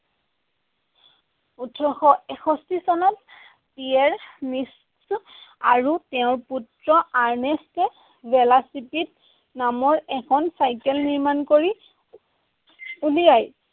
ওঠৰশ এষষ্ঠী চনত পিয়েৰ আৰু তেওঁৰ পুত্ৰ আৰ্নেষ্ট ভেল'চিপিড নামৰ এখন চাইকেল নিৰ্মাণ কৰি উলিয়ায়।